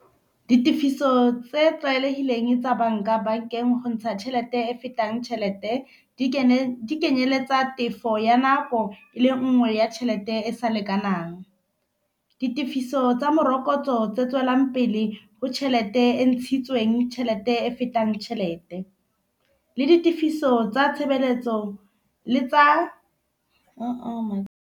Ditefiso tse tlwaelegileng tsa banka, bankeng o ntsha tšhelete e e fetang tšhelete di kenyeletsa tefo ya nako le nngwe ya tšhelete e sa lekanang. Ditefiso tsa morokotso tse tswelang pele ho tšhelete e ntshitsweng, tšhelete e fetang tšhelete le ditefiso tsa tshebeletso le tsa .